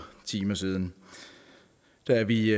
timer siden da vi